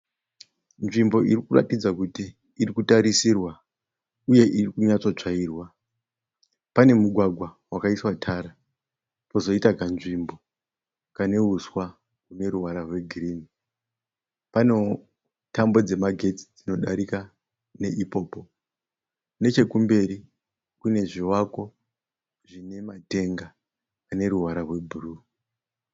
Nzvimbo irikuratidza kuti irikutarisirwa uye iri kunyatsotsvairwa. Pane mugwagwa wakaiswa tara pozoita kanzvimbo kane huswa hune ruvara rwegirinhi. Panewo tambo dzemagetsi dzinodarika neipopo. Nechekumberi kune zvivakwa zvine matenga ane ruvara rwebhuruu.